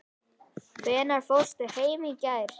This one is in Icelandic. Hvenær fórstu heim í gær?